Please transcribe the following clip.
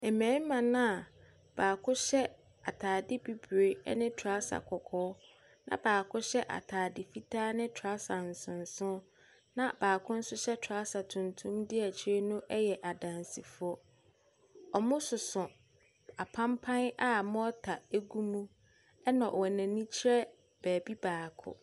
Mmarima no a baako hyɛ atadeɛ bibire ne trouser kɔkɔɔ, na baako hyɛ atadeɛ fitaa ne trouser nsonson, na baako nso hyɛ trouser tuntum di akyire no yɛ adansifoɔ. Wɔsoso apampaa a morter gu mu, na wɔn ani kyerɛ baabi baako.